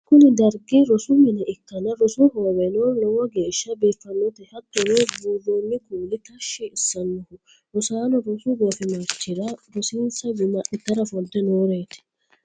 kuni dargi rosu mine ikkanna, rosu hooweno lowo geeshsha biiffannote, hattono buurronni kuuli tashshi assannoho, rosaanono rosu goofimarchi'ra rosinsa guma adhitara ofolte nooreeti.